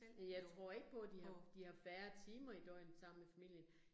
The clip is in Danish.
Men jeg tror ikke på, de har de har færre timer i døgnet sammen med familien